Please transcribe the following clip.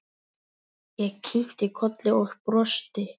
Ég kinkaði kolli og brosti.